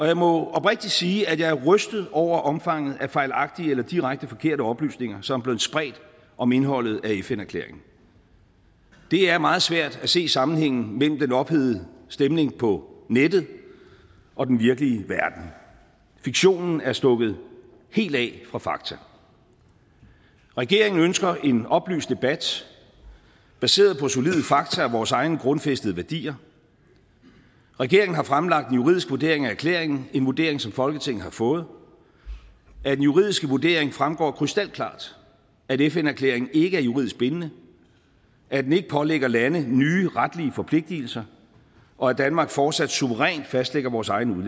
jeg må oprigtigt sige at jeg er rystet over omfanget af fejlagtige eller direkte forkerte oplysninger som er blevet spredt om indholdet af fn erklæringen det er meget svært at se sammenhængen mellem den ophedede stemning på nettet og den virkelige verden fiktionen er stukket helt af fra fakta regeringen ønsker en oplyst debat baseret på solide fakta og vores egne grundfæstede værdier regeringen har fremlagt en juridisk vurdering af erklæringen en vurdering som folketinget har fået af den juridiske vurdering fremgår det krystalklart at fn erklæringen ikke er juridisk bindende at den ikke pålægger lande nye retlige forpligtelser og at danmark fortsat suverænt fastlægger vores egen